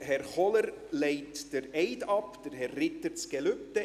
Herr Kohler legt den Eid ab, Herr Ritter das Gelübde.